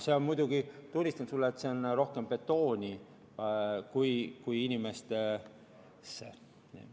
Aga tunnistan sulle, et see läheb rohkem betooni kui inimestesse.